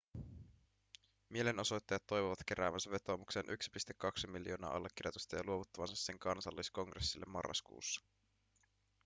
mielenosoittajat toivovat keräävänsä vetoomukseen 1,2 miljoonaa allekirjoitusta ja luovuttavansa sen kansalliskongressille marraskuussa